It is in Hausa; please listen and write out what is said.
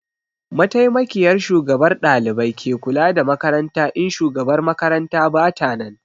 Mataimakiyar Shugabar ɗalibai ke kula da makaranta in Shugabar makaranta bata nan